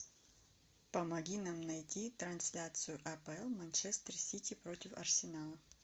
помоги нам найти трансляцию апл манчестер сити против арсенала